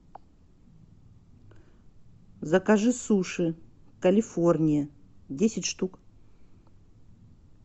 закажи суши калифорния десять штук